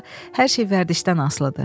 Burda hər şey vərdişdən asılıdır.